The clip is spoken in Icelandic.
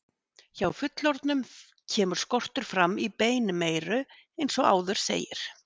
Hjá fullorðnum kemur skortur fram í beinmeyru eins og áður segir.